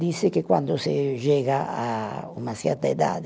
Disse que quando se chega a uma certa idade,